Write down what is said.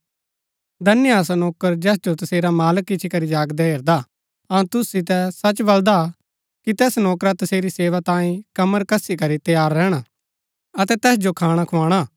धन्य हा सो नौकर जैस जो तसेरा मालक इच्ची करी जागदा हेरदा अऊँ तुसु सितै सच बलदा कि तैस नौकरा तसेरी सेवा तांई कमर कसी करी तैयार रैहणा अतै तैस जो खाणा खोआणा